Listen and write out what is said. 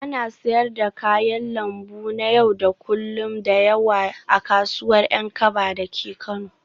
Ana siyar da kayan lambu na yau da kullun da yawa a kasuwar Yankaba dake Kano